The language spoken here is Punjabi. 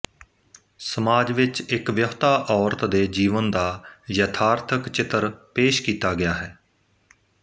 ਸਮਾਜ ਵਿੱਚ ਇੱਕ ਵਿਆਹੁਤਾ ਔਰਤ ਦੇ ਜੀਵਨ ਦਾ ਯਥਾਰਥਕ ਚਿੱਤਰ ਪੇਸ਼ ਕੀਤਾ ਗਿਆ ਹੈ